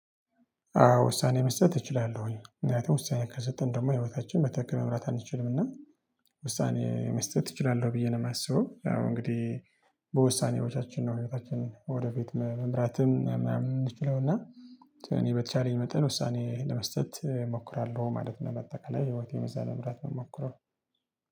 አዎ ውሳኔ መስጠት እችላለሁኝ ምክንያቱም ውሳኔ ካልሰጠን ደግሞ ህይወታችን በትክክል መምራት አንችልም። እና ውሳኔ መስጠት እችላለሁ ብዬ ነው ማስበው። ያው እንግዲህ በውሳኔዎቻችን ነው ህይወታችንን ወደ ፊት መምራትም ምናምን ምንችለውና። እኔ በተቻለኝ መጠን ውሳኔ ለመስጠት እሞክራለሁ ማለት ነው። በጠቀለያ ህይወቴን በዛ ለመምረት ምሞከር